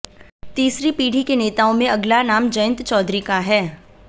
तीसरी पीढ़ी के नेताओं में अगला नाम जयंत चैधरी का है